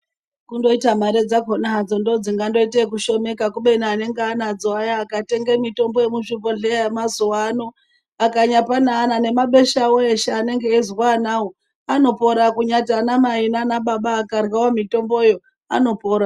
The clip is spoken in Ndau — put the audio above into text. Kundoita mare dzakona hadzo ndodzingandoita ekushomeka. Kubeni anenge anadzo aya akatenga mitombo yemuzvibhodhleya yamazuva ano. Akanyapa neana nemabesha avo eshe anenge eizwa anavo anopora kunyati anamai nanababa akaryavo mitomboyo anopora.